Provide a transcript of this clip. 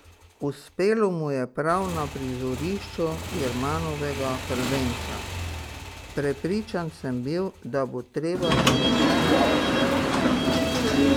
Uspelo mu je prav na prizorišču Jermanovega prvenca: "Prepričan sem bil, da bo treba na stopničke še počakati.